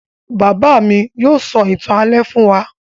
Bàbá mi yóò sọ ìtàn alẹ́ fún wa